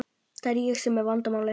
Það er ég sem er vandamálið.